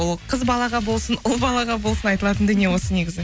ол қыз балаға болсын ұл балаға болсын айтылатын дүние осы негізі